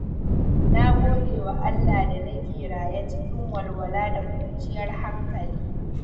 Na gode wa Allah da nake raye cikin walwala da kwanciyar hankali.